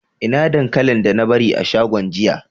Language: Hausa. Ina dankalin da na bari a shagon jiya?